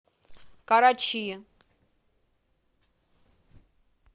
карачи